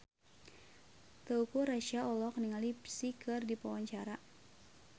Teuku Rassya olohok ningali Psy keur diwawancara